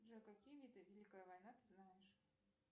джой какие виды великая война ты знаешь